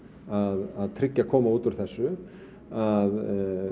að tryggja að komi út úr þessu að